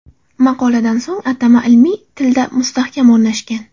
Maqoladan so‘ng atama ilmiy tilda mustahkam o‘rnashgan.